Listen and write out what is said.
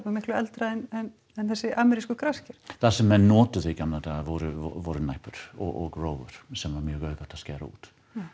miklu eldra en þessi amerísku grasker það sem menn notuðu í gamla daga voru voru næpur og rófur sem er mjög auðvelt að skera út